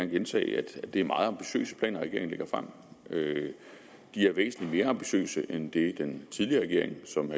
gentage at det er meget ambitiøse planer regeringen lægger frem de er væsentlig mere ambitiøse end det den tidligere regering som